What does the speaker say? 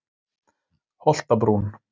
Holtabrún